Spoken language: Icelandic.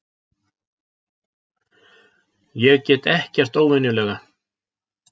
Ég get ekkert óvenjulega.